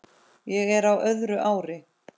Ég er á öðru ári.